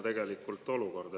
Tegelikult kummaline olukord.